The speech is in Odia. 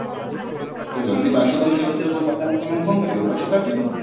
ଯଦି ବାସଗୃହ ସେଇ ଅନୁସାରେ ବଢିଲା ତାହେଲେ ସେମାନେ କଣ କରିବେ ଗଛ କାଟିବେ